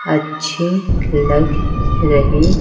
अच्छी लग रही।